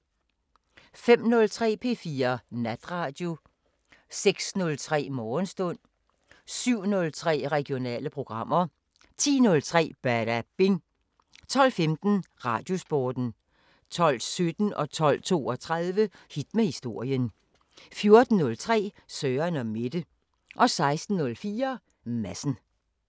05:03: P4 Natradio 06:03: Morgenstund 07:03: Regionale programmer 10:03: Badabing 12:15: Radiosporten 12:17: Hit med historien 12:32: Hit med historien 14:03: Søren & Mette 16:04: Madsen